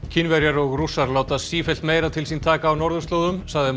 Kínverjar og Rússar láta sífellt meira til sín taka á norðurslóðum sagði